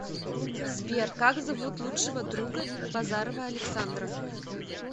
сбер как зовут лучшего друга базарова александра